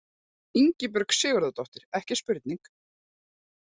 Ingibjörg Sigurðardóttir, ekki spurning!